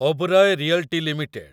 Oberoi realty limited